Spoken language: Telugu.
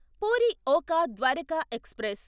పూరి ఒఖా ద్వారకా ఎక్స్ప్రెస్